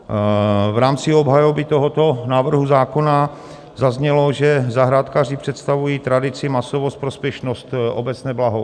V rámci obhajoby tohoto návrhu zákona zaznělo, že zahrádkáři představují tradici, masovost, prospěšnost, obecné blaho.